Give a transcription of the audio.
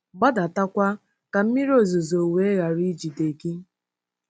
gbadatakwa ka mmiri ozuzo wee ghara ijide gị! ’”